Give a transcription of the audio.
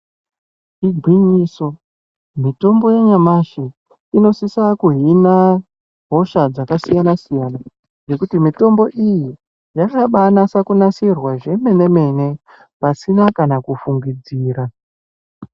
Igwinyiso mitombo yanyamashi inosisa kuhina hosha dzakasiyana-siyana nekuti mitombo yakabanaka kugadzirwa zvemene-mene pasina kana kufungidzira.